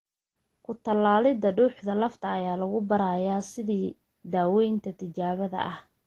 Ku-tallaalidda dhuuxa lafta ayaa lagu baarayaa sidii daawaynta tijaabada ah.